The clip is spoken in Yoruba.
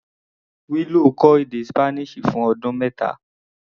Willow kọ́ èdè Spanish fún ọdún mẹ́ta.